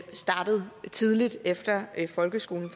startet tidligt efter folkeskolen